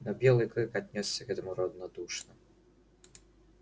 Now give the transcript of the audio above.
но белый клык отнёсся к этому равнодушно